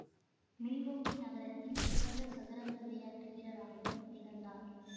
Milwaukee நகரத்தின் சிறந்த சதுரங்க விளையாட்டு வீரராகவும் திகழ்ந்தார்